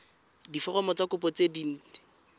diforomo tsa kopo tse dint